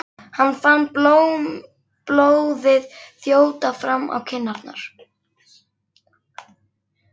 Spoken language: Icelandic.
Hann fann blóðið þjóta fram í kinnarnar.